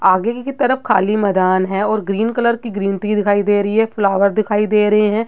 आगे की तरफ खाली मैदान है और ग्रीन कलर की ग्रीन टी दिखाई दे रही है फ्लावर दिखाई दे रहे है।